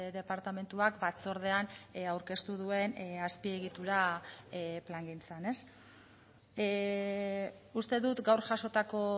departamentuak batzordean aurkeztu duen azpiegitura plangintzan uste dut gaur jasotako